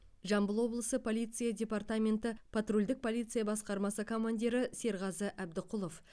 жамбыл облысы полиция департаменті патрульдік полиция басқармасы командирі серғазы әбдіқұлов